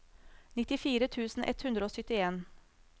nittifire tusen ett hundre og syttien